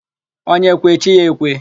Onye kwe, chi ya ekwe.